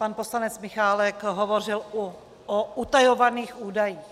Pan poslanec Michálek hovořil o utajovaných údajích.